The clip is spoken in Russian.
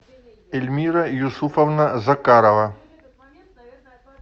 эльмира юсуповна закарова